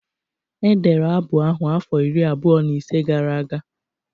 Edere abụ ahụ afọ iri abụọ na ise gara aga